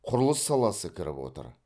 құрылыс саласы кіріп отыр